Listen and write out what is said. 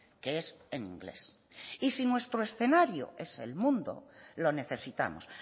que es en inglés y si nuestro escenario es el mundo lo necesitamos